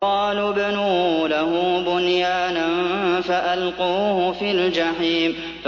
قَالُوا ابْنُوا لَهُ بُنْيَانًا فَأَلْقُوهُ فِي الْجَحِيمِ